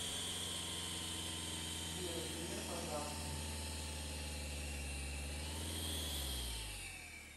сбер греф азартный